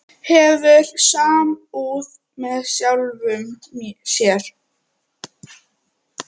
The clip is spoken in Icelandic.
Hefur samúð með sjálfum sér.